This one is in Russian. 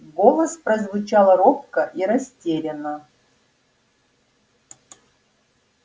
голос прозвучал робко и растерянно